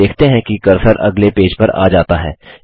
आप देखते हैं कि कर्सर अगले पेज पर आ जाता है